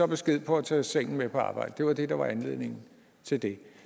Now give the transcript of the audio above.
besked på at tage sengen med på arbejde det var det der var anledningen til det